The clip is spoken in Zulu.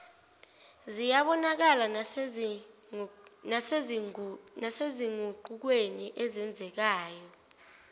ziyabonakala nasezinguqukweni ezenzekayo